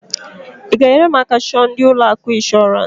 I g'enyere m aka chọọ ndị ụlọ akụ inshorance?